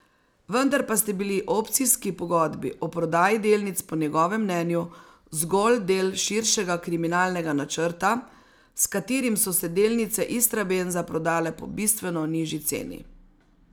Vendar pa sta bili opcijski pogodbi o prodaji delnic po njegovem mnenju zgolj del širšega kriminalnega načrta, s katerim so se delnice Istrabenza prodale po bistveno nižji ceni.